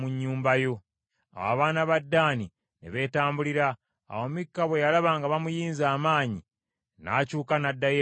Awo abaana ba Ddaani ne beetambulira. Awo Mikka bwe yalaba nga bamuyinze amaanyi, n’akyuka n’addayo ewuwe.